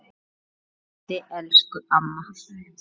Guð geymi þig elsku amma.